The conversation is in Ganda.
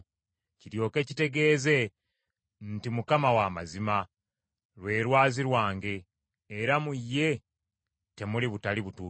kiryoke kitegeeze nti, Mukama w’amazima, lwe Lwazi lwange era mu ye temuli butali butuukirivu.